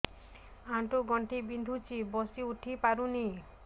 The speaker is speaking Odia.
ଆଣ୍ଠୁ ଗଣ୍ଠି ବିନ୍ଧୁଛି ବସିଉଠି ପାରୁନି